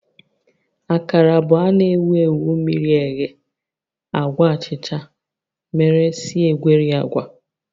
Akara bụ a na-ewu ewu miri eghe agwa achicha mere si egweri agwa